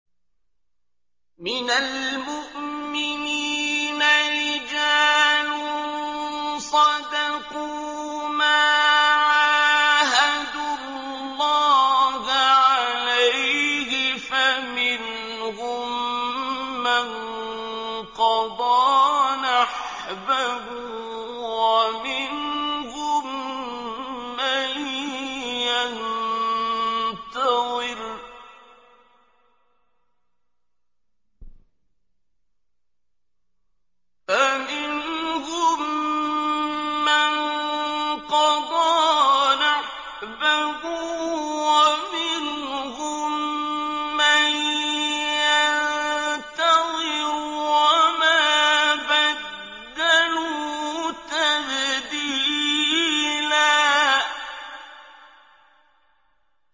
مِّنَ الْمُؤْمِنِينَ رِجَالٌ صَدَقُوا مَا عَاهَدُوا اللَّهَ عَلَيْهِ ۖ فَمِنْهُم مَّن قَضَىٰ نَحْبَهُ وَمِنْهُم مَّن يَنتَظِرُ ۖ وَمَا بَدَّلُوا تَبْدِيلًا